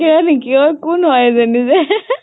চাকিয় নেকি অ, কোন হয় এইজনী যে